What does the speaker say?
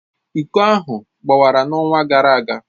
Iko ahụ gbawara n'ọnwa gara aga.